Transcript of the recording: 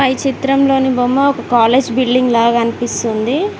చిత్రంలోని బొమ్మ ఒక కాలేజ్ బిల్డింగ్ లాగా అనిపిస్తుంది.